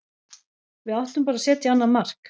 Við áttum bara að setja annað mark.